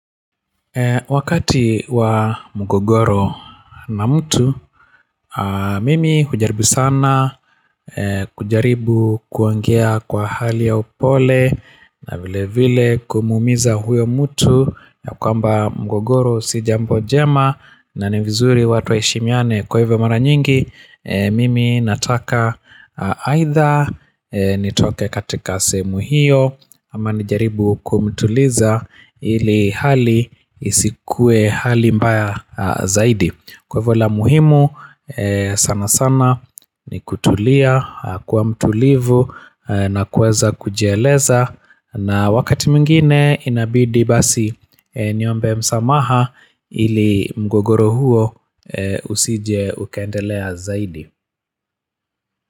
Wakati wa mgogoro na mtu, mimi hujaribu sana kujaribu kuangea kwa hali ya upole na vile vile kumuumiza huyo mtu ya kwamba mgogoro si jambo jema na ni vizuri watu waheshimiane kwa hivyo mara nyingi, mimi nataka aidha nitoke katika sehemu hiyo ama nijaribu kumtuliza ili hali isikue hali mbaya zaidi Kwa hivo la muhimu sana sana ni kutulia kkwa mtulivu na kuweza kujieleza na wakati mwingine inabidi basi niombe msamaha ili mgogoro huo usije ukaendelea zaidi.